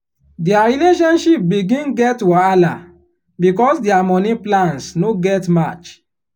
their relationship begin get wahala because their money plans no dey match.